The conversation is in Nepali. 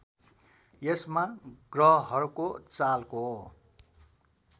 यसमा ग्रहहरूको चालको